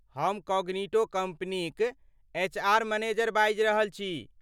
हम कॉग्निटो कम्पनीक HR. Manager बाजि रहल छी।